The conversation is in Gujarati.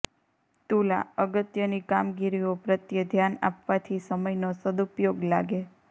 તુલાઃ અગત્યની કામગીરીઓ પ્રત્યે ધ્યાન આપવાથી સમયનો સદ્ઉપયોગ લાગે